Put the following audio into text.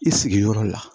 I sigiyɔrɔ la